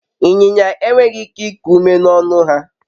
inyinya enweghi ike iku ume n'ọnu-ha